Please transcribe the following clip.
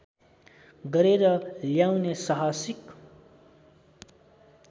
गरेर ल्याउने साहसिक